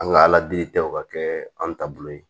An ka ala deli tɛ o ka kɛ anw ta bolo ye